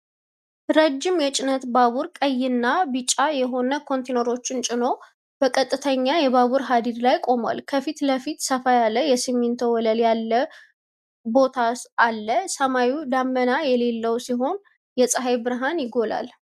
ረዥም የጭነት ባቡር ቀይና ቢጫ የሆኑ ኮንቴይነሮችን ጭኖ በቀጥተኛ የባቡር ሀዲድ ላይ ቆሟል። ከፊት ለፊት ሰፋ ያለ የሲሚንቶ ወለል ያለው ቦታ አለ። ሰማዩ ደመና የሌለው ሲሆን የፀሐይ ብርሃን ይጎላል።